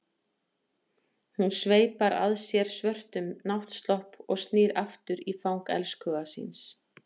Hún sveipar að sér svörtum náttslopp og snýr aftur í fang elskhuga síns.